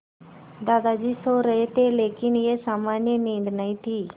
दादाजी सो रहे थे लेकिन यह सामान्य नींद नहीं थी